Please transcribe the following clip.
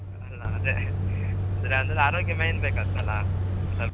ಅದೆ ಅಂದ್ರೆ ಅಂದ್ರೆ ಆರೋಗ್ಯ main ಬೇಕಾತ್ತಲ್ಲಾ.